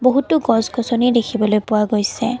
বহুতো গছ-গছনি দেখিবলৈ পোৱা গৈছে।